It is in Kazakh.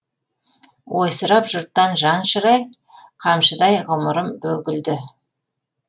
ойсырап жұрттан жан шырай қамшыдай ғұмырым бүгілді